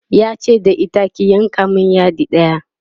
yace da ita ki "yanka min yadi ɗaya!"